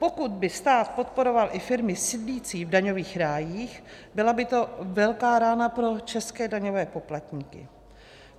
Pokud by stát podporoval i firmy sídlící v daňových rájích, byla by to velká rána pro české daňové poplatníky.